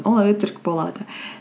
ол өтірік болады